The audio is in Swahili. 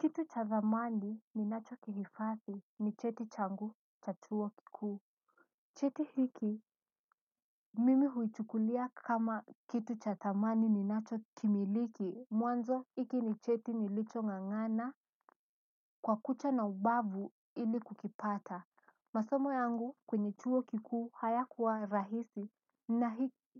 Kitu cha thamani ninachokihifadhi ni cheti changu cha chuo kikuu. Cheti hiki, mimi huichukulia kama kitu cha thamani ninachokimiliki, mwanzo hiki ni cheti nilichong'ang'ana kwa kucha na ubavu ili kukipata masomo yangu kwenye chuo kikuu haya kuwa rahisi na